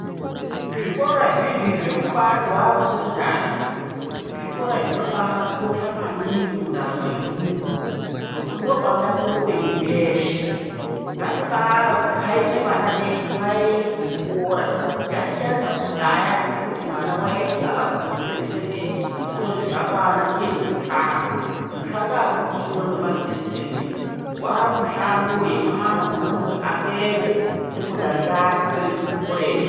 Zvikora zvizvi zvekuti wakusekondari zvikora zvinoba akosha maningi mundaramo yemuntu ngokuti ndopanotangire upenyu hweshe ngatiba akaime vana vedu vaende kuchikora zvasiyana nekudhaya ,kwokuti mwana waiti akasvike panopere fundo yepashi otozizvakwana chiende kumushando, mushando akuchina wevantu vefundo yepashi, wamushando wemwana unonga apedza sekondari yakwe oende kukorejii.